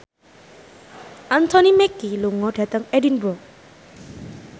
Anthony Mackie lunga dhateng Edinburgh